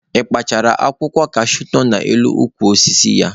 Ị kparachara akwụkwọ kashuu nọ n'elu ukwu osisi ya?